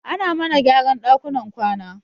Ana mana gyaran ɗakunan kwana